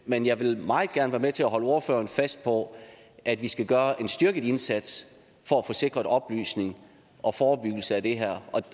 men jeg vil meget gerne være med til at holde ordføreren fast på at vi skal gøre en styrket indsats for at få sikret oplysning og forebyggelse af det her